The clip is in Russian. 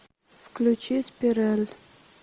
включи спираль